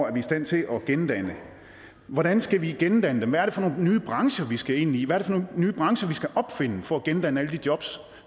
er i stand til at gendanne hvordan skal vi gendanne dem hvad er det for nogle nye brancher vi skal ind i hvad nogle nye brancher vi skal opfinde for at gendanne alle de jobs